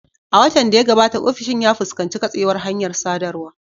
A watan da ya gabata, ofishin ya fuskanci katsewar hanyar sadarwa.